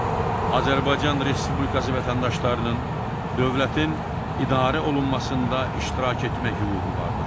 Azərbaycan Respublikası vətəndaşlarının dövlətin idarə olunmasında iştirak etmək hüququ vardır.